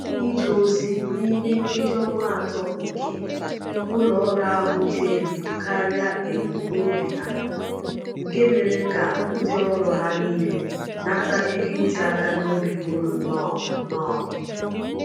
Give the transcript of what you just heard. Ije ozi niime nkeji ọnwa atọ nke ụlo-ọru ahụ dị elu karịa ebum n'obi ha, nke mèrè kà ndị ọrụ ha niile nata ego iti aka n'obi búrú nnọ nnọ ịbụ.